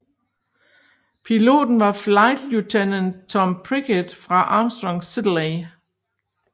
Piloten var Flight Lieutenant Tom Prickett fra Armstrong Siddeley